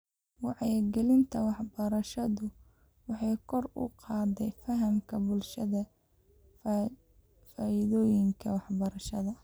Wacyigelinta waxbarashadu waxay kor u qaadaa fahamka bulshada faa'iidooyinka waxbarashada.